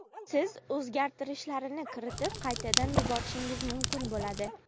siz o‘zgartirishlarni kiritib qaytadan yuborishingiz mumkin buladi.